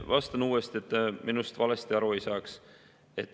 Vastan uuesti, et minust valesti aru ei saadaks.